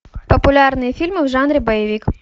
популярные фильмы в жанре боевик